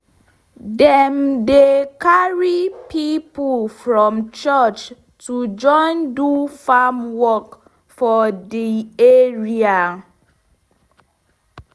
dem dey carry pipo from church to join do farm work for de area